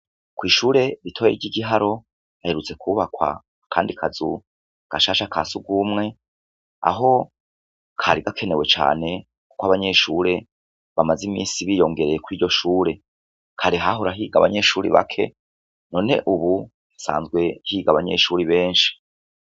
Kw'ishure ritoyi ry'Igiharo, haherutse kwubakwa akandi kazu gashasha ka sugumwe, aho kari gakenewe cane kuko abanyeshure bamaze imisi biyongereye kwiryo shure. Kare hahora higa abanyeshure bake none ubu hasanzwe higa abanyeshure benshi.